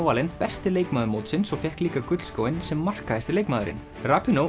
valin besti leikmaður mótsins og fékk líka sem markahæsti leikmaðurinn